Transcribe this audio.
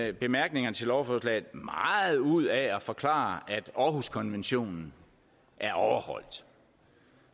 i bemærkningerne til lovforslaget meget ud af at forklare at århuskonventionen er overholdt